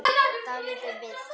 Dálítið villt!